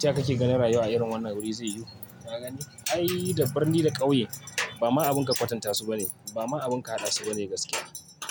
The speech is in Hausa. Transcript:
taya kake gani rayuwa a irin wannan guri zai yiwu. Ka gani, ai da birni da ƙauye ba abin ma ka kwatanta su bane ba ma abin ka haɗa su ba ne gaskiya.